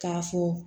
K'a fɔ